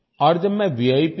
और जब मैं V